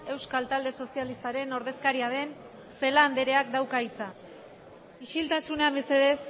euskal talde sozialistaren ordezkaria den celaá andreak dauka hitza isiltasuna mesedez